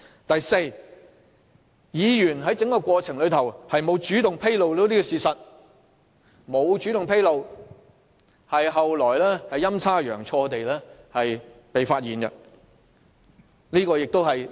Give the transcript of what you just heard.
第四，該議員在整個過程中，沒有主動披露事實，只是後來陰差陽錯，事情才被揭發。